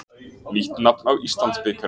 Nýtt nafn á Íslandsbikarinn.